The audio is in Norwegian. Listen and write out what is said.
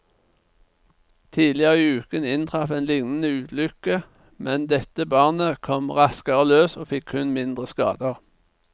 Tidligere i uken inntraff en lignende ulykke, men dette barnet kom raskere løs og fikk kun mindre skader.